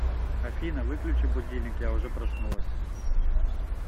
афина выключи будильник я уже проснулась